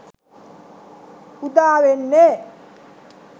උදා වෙන්නේ.